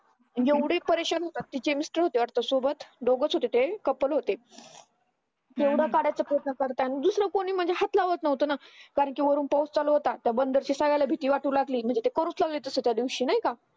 एवढे परेशान होतात तिचे mister होते वाटय सोबत दोघच होते ते couple होते येवडा काढायचं photo तर त्यानी दिसलं कोणी म्हणजे हात लावत नव्हतं ना कारण कि वरून पाऊस चालू होता त्या बंदरी साऱ्यांना भीती वाटू लागली म्हणजे तो त्यादिवशी नाय का